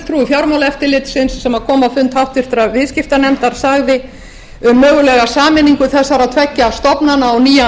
fjármálaeftirlitsins sem komu á fund háttvirtur viðskiptanefndar sagði um mögulega sameiningu þessara tveggja stofnana á nýjan